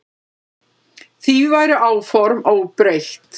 Því væru áform óbreytt.